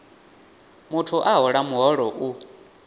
muthu a hola muholo u